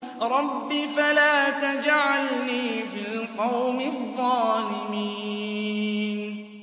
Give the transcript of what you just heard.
رَبِّ فَلَا تَجْعَلْنِي فِي الْقَوْمِ الظَّالِمِينَ